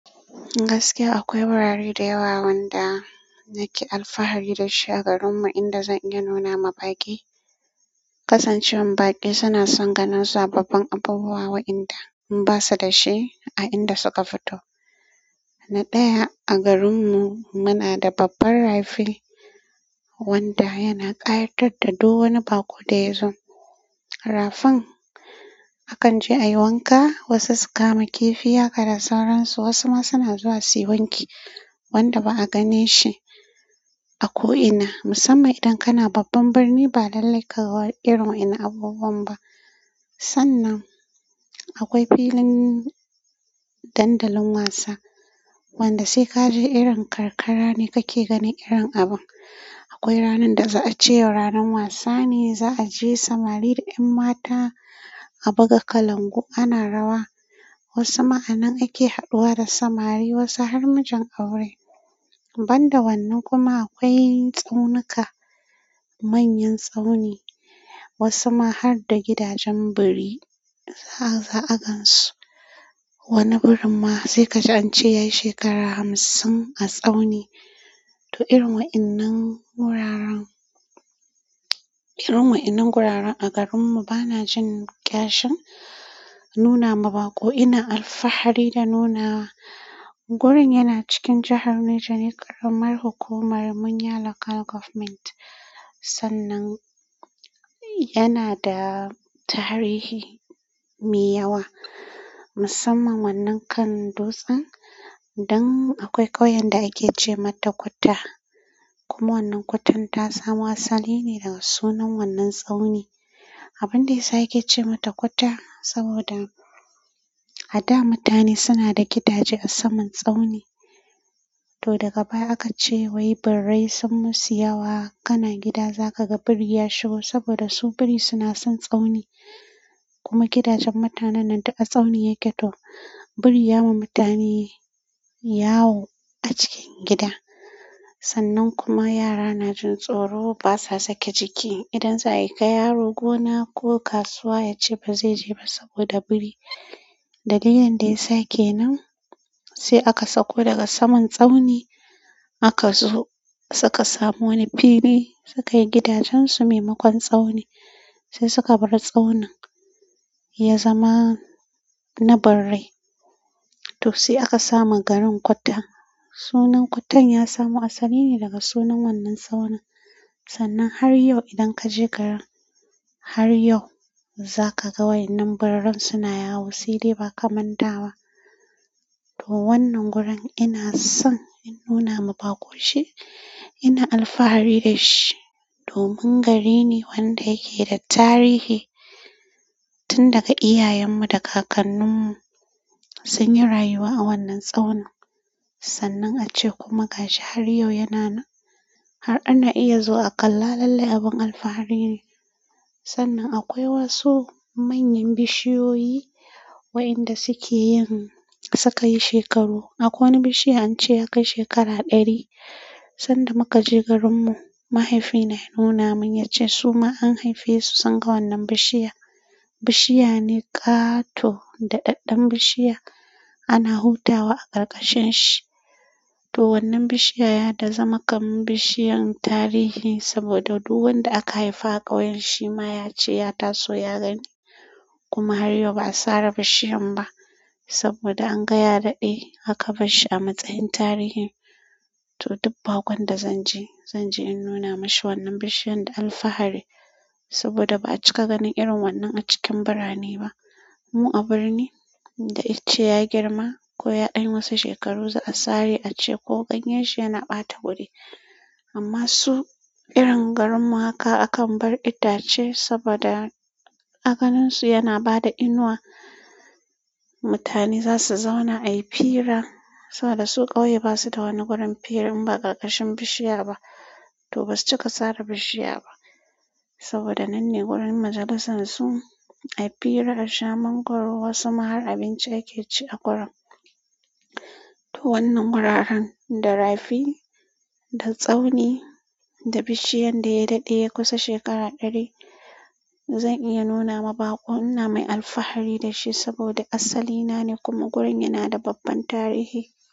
Gaskiya akwai wurare da yawa wanda nake alfahari dashi a garinmu inda zan iya nuna ma baƙi. Kasancewan baƙi suna san ganin sababbin abubuwa wa inda basu dashi a inda suka fito. Na ɗaya, a garinmu muna da babban rafi wanda yana ƙayatar da duk wani baƙo da yazo. Rafin akan je a yi wanka, wasu su kama kifi ya kada sauransu, wasu ma suna zuwa suyi wanki wanda ba'a ganin shi a ko'ina musamman idan kana babban birni ba lallai kaga irin waɗannan abubuwan ba sannan akwai filin dandali wasa wanda sai kaje irin karkara ne kake ganin irin abun. Akwai ranar da za'a ce ranar wasa ne, za'a je samari da 'yan mata a buga kalangu ana rawa. Wasu ma anan ake haɗuwa da samari, wasu har mijin aure. Banda wannan kuma akwai tsaunuka manyan tsauni wasu ma harda gidajen biri za'a gansu. Wani birin ma sai kaji ance yayi shekara hamsin a tsauni. To, irin wa'inan wuraren, irin wa'innan guraren a garinmu banajin kyashin nuna ma baƙo ina alfahari da nuna. Gurin yana cikin jahar Neja ne, ƙaramar hukumar Munya Local Government. Sannan yanada tarihi mai yawa musamman wannan kan dutsen dan akwai ƙauyen da ake ce mata Kutta. Kuma wannan Kuttan ta samo asali ne daga sunan wannan tsauni. Abin da yasa yake ce mata Kutta saboda a da mutane suna da gidaje a saman tsauni. To daga baya akace wai birrai sun musu yawo. Kana gida zaka ga biri ya shigo saboda su biri suna son tsauni. Kuma gidajen mutanen nan duka tsauni yake to. Biri ya ma mutane yawo a cikin gida. Sannan kuma yara najin tsoro basa sake jiki. Idan za'ai aika yaro gona ko kasuwa yace bazai je ba saboda biri. Dalilin da yasa kenan sai aka sauko daga saman tsauni aka zo suka samu wani fili sukai gidajen su maimakon tsauni. Sai suka bar tsaunin ya zama na birrai. To sai aka sa ma garin Kutta. Sunan Kuttan ya samo asali ne daga sunan wannan tsauni. Sannan har yau idan kaje garin, har yau zakaga waƴannan birrai suna yawo saibdai ba kaman da ba. To wannan gurin ina son in nuna ma baƙo shi. Ina alfahari da shi domin gari ne wanda yake da tarihi. Tun daga iyayenmu da kakanninmu sunyi rayuwa a wannan tsaunin. Sannan ance kuma gashi har yau yana nan. Har ana iya zuwa kalla lalle abun alfahari ne sannan akwai wasu manyan bishiyoyi wa inda suke yin suka yi shekaru. Akwai wani bishiya ance ya kai shekara ɗari. San da muka je garinmu, mahaifina ya nuna mun yace su ma an haife su sun ga wannan bishiya. Bishiya ne ƙato da ɗaɗɗen bishiya ana hutawa a ƙarƙashin shi. To wannan bishiya ya dai zama kamin bishiyan tarihi saboda duk wanda aka haifa a ƙauyen shima ya ce ya taso ya gani. Kuma har yau ba'a sare bishiyan ba saboda anga ya daɗe aka barshi a matsayin tarihin. To duk baƙon da zan je, zan je in nuna mashi wannan bishiyan da alfahari saboda ba'a cika ganin irin wannan a cikin birane ba. Mu a birni idan ice ya girma ko ya ɗan wasu shekaru za a sare a ce ko ganyen shi yana ɓata wuri. Amma su irin garin mu haka akan bar itace saboda a ganin su yana bada inuwa mutane za su zauna a yi fira saboda su ƙauye basu da wani wurin fira in ba ƙarƙashin bishiya ba. To ba su cika sare bishiya ba saboda nan ne wurin majalisar su, a yi fira, a sha man goro, wasu ma har abinci ake ci a gurin. To wannan guraren da rafi, da tsauni, da bishiyan da ya daɗe ya kusa shekara ɗari, zan iya nuna ma baƙo. Ina mai alfahari da shi saboda asali na ne kuma gurin yana da babban tarihi.